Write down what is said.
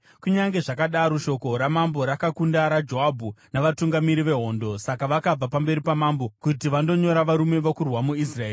Kunyange zvakadaro, shoko ramambo rakakunda raJoabhu navatungamiri vehondo; saka vakabva pamberi pamambo kuti vandonyora varume vokurwa muIsraeri.